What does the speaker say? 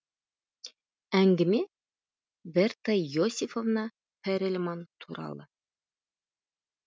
әңгіме берта иосифовна перельман туралы